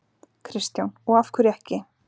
Kristján: Og af hverju ekki?